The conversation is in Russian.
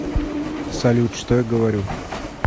салют что я говорю